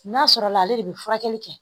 N'a sɔrɔla ale de bɛ furakɛli kɛ